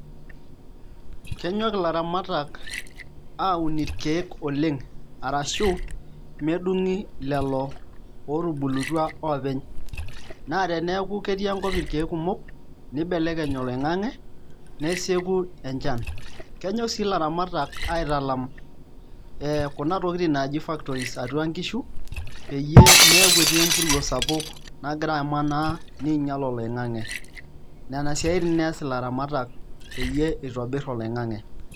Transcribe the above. Kenyok ilaramatak aaun irkeek oleng' arashu medung'i lelo ootubulutua openy naa teenku ketii enkop irkeek kumok nibelekeny oloing'ang'e nesieku enchan, kenyok sii ilaramatak aitalam kuna tokitin naaji factories atua nkishu peyie meeku etii empuruo sapuk nagiraa amanaa niinyial oloing'ang'e nena siaitin ees ilaramatak peyie itobirr oloing'ang'e.